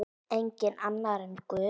Enginn annar en Guð.